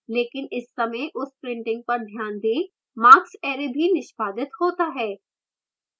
लेकिन इस समय उस printing पर ध्यान दें marks array भी निष्पादित होता है